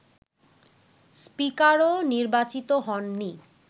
স্পিকারও নির্বাচিত হননি